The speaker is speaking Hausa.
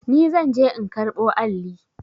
Ni zan je in karɓo alli.